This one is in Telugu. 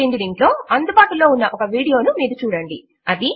ఈ క్రింది లింక్ లో అందుబాటులో ఉన్న ఒక వీడియో ను మీరు చూడండి